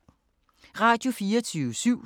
Radio24syv